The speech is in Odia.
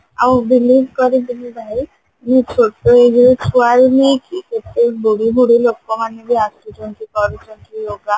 ଆଉ believe କର ତୁମେ ଭାଇ ମୁଁ ଛୋଟ ଏଇ ଯୋଉ ଛୁଆରୁ ନେଇକି କେତେ ବୁଢୀ ବୁଢୀ ଲୋକମାନେ ବି ଆସୁଛନ୍ତି କରୁଛନ୍ତି yoga